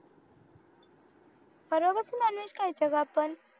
nonveg खायचं का आपण